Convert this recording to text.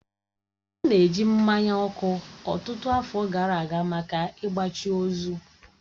A na-eji mmanya ọkụ ọtụtụ afọ gara aga maka ịgbachi ozu.